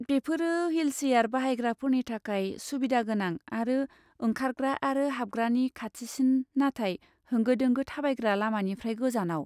बेफोरो ह्विलसियार बाहायग्राफोरनि थाखाय सुबिदा गोनां आरो ओंखारग्रा आरो हाबग्रानि खाथिसिन, नाथाय होंगो दोंगो थाबायग्रा लामानिफ्राय गोजानाव।